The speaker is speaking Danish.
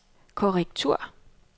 korrektur